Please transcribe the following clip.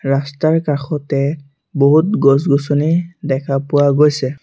ৰাস্তাৰ কাষতে বহুত গছ গছনি দেখা পোৱা গৈছে।